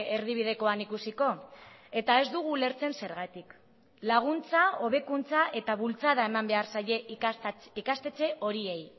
erdibidekoan ikusiko eta ez dugu ulertzen zergatik laguntza hobekuntza eta bultzada eman behar zaie ikastetxe horiei